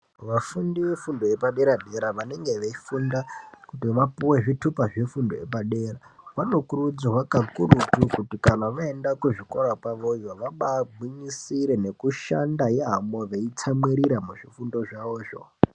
Vafundi vefundo yepadera dera vanenge veifunda kuti vapuwe zvithupa zvefundo yepadera vanokurudzirwa kakurutu kuti kana vaenda kuzvikora kwavoyo vabagwinyisira nekushanda yaamo veitsamwirira muzvifundo zvavozvo.